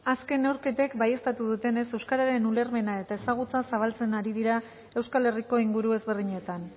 azken neurketek baieztatu dutenez euskararen ulermena eta ezagutza zabaltzen ari dira euskal herriko inguru ezberdinetan